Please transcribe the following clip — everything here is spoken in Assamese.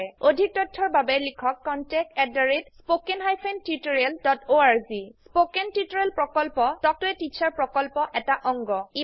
অধিক তথ্যৰ বাবে লিখক contactspoken tutorialorg স্পোকেন টিউটোৰিয়েল প্ৰকল্প তাল্ক ত a টিচাৰ প্ৰকল্পৰ এটা অংগ